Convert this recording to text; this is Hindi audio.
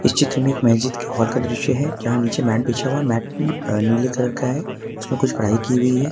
इस चित्र में एक मस्जिद के हाल का दृश्य है जहाँ नीचे मैट बिछा हुआ है मैट अ नीले कलर का है उसमे कुछ कढ़ाई की हुई है।